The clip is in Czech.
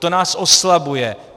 To nás oslabuje.